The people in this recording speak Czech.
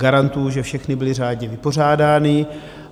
Garantuji, že všechny byly řádně vypořádány.